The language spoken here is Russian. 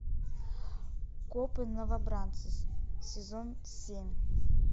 копы новобранцы сезон семь